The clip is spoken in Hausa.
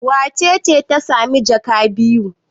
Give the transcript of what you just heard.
Wace ce ta sami jaka biyu?